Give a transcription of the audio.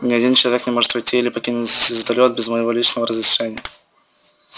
ни один человек не может войти или покинуть звездолёт без моего личного разрешения